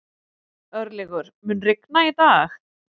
Örlygur, mun rigna í dag?